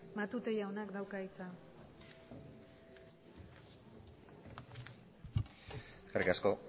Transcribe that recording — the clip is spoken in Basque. matute jaunak dauka hitza eskerrik asko